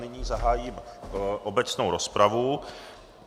Nyní zahájím obecnou rozpravu.